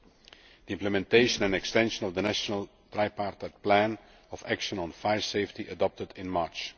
the implementation and extension of the National Tripartite Plan of Action on Fire Safety adopted in March